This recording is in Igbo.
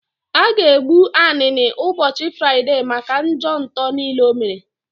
A ga egbu Anini ụbọchị Fraịdee maka njọ nto niile o mere